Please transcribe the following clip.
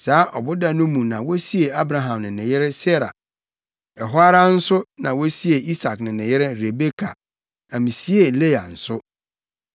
Saa ɔboda no mu na wosiee Abraham ne ne yere Sara. Ɛhɔ ara nso na wosiee Isak ne ne yere Rebeka, na misiee Lea nso.